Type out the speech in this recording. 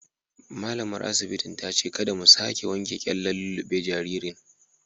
Malamar asibitin ta ce kada mu sake wanke kyallen lullube jaririn.